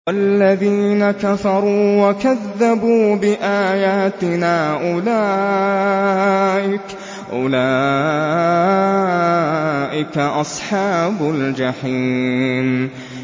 وَالَّذِينَ كَفَرُوا وَكَذَّبُوا بِآيَاتِنَا أُولَٰئِكَ أَصْحَابُ الْجَحِيمِ